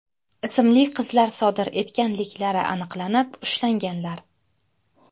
ismli qizlar sodir etganliklari aniqlanib, ushlanganlar.